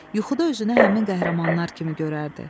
Yuxuda özünü həmin qəhrəmanlar kimi görərdi.